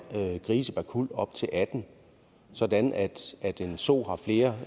grise per kuld op til atten sådan at en so har flere